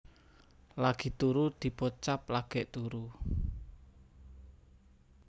Lagi turu dipocap lagèk turu